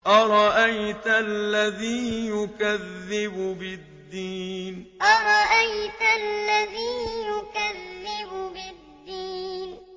أَرَأَيْتَ الَّذِي يُكَذِّبُ بِالدِّينِ أَرَأَيْتَ الَّذِي يُكَذِّبُ بِالدِّينِ